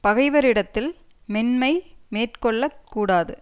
பகைவரிடத்தில் மென்மை மேற்கொள்ள கூடாது